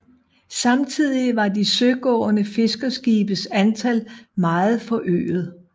Samtidig var de søgående fiskerskibes antal meget forøget